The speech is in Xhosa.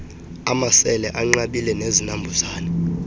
amasele anqabileyo nezinambuzane